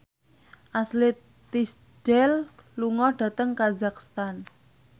Ashley Tisdale lunga dhateng kazakhstan